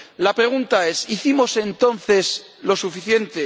La pregunta es ¿hicimos entonces lo suficiente?